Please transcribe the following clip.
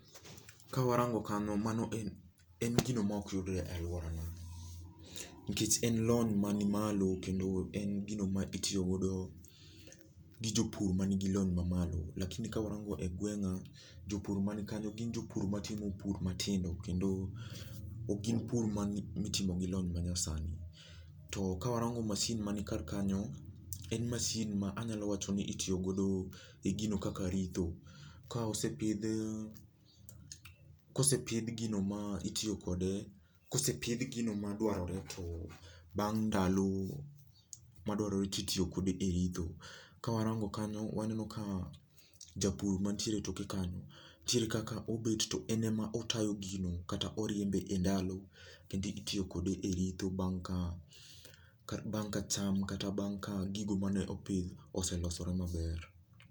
Kawarango kanyo mano en en gino mok yudre e alworana. Nikech en lony mani malo kendo en gino ma itiyo godo gi jopur ma nigi lony mamalo lakini kwarango e gweng'a, jopur man kanyo gin jopur matimo pur matindo kendo, ok gin pur mitimo gi lony ma nyasani. To kawarango mashin mani kar kanyo, en mashin ma anyalo wacho ni itiyo godo e gino kaka ritho. Ka osepidh kosepidh gino ma itiyo kode, kosepidh gino ma dwarore to, bang' ndalo, madwarore titiyo kode e ritho. Kawarango kanyo waneno ka, japur mantiere etoke kanyo, nitiere kaka obet to en ema otayo gino kata oriembe e ndalo kendi itiyo kode e ritho bang' ka bang' ka cham kata bang' ka gigo mane opidh, oselosore maber